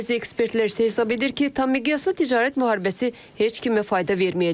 Bəzi ekspertlər isə hesab edir ki, tammiqyaslı ticarət müharibəsi heç kimə fayda verməyəcək.